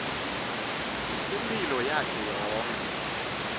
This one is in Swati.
imphilo yakhe yonkhe